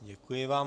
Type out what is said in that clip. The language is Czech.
Děkuji vám.